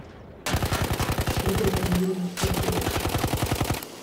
игорь валентинович фатеев